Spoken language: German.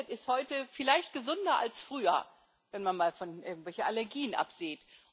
Die Menschheit ist heute vielleicht gesünder als früher, wenn man mal von irgendwelchen Allergien absieht.